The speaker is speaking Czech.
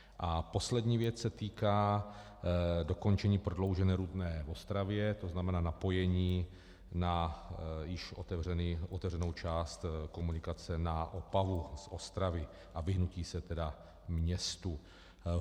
A poslední věc se týká dokončení prodloužené Rudné v Ostravě, to znamená napojení na již otevřenou část komunikace na Opavu z Ostravy a vyhnutí se tedy městu.